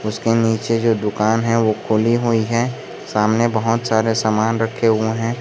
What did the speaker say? उसके नीचे जो दुकान है वो खुली हुई है सामने बहोत सारे सामान रखे हुए हैं।